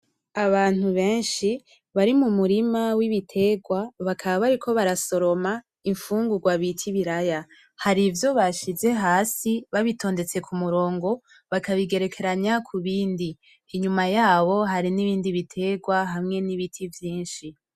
Abantu benshi bari mumurima w’ibiterwa bakaba bariko barasoroma ibifungugwa bita ibiraya harivyo bashize hasi babitondetse k’umurongo bakabigerekeranya kubindi inyuma yabo hari n'ibindi biterwa hamwe nibiti vyinshi.